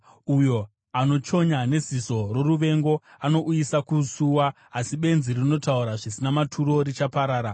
Uyo anochonya neziso roruvengo anouyisa kusuwa, asi benzi rinotaura zvisina maturo richaparara.